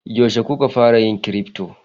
Yaushe kuka fara yin crypto?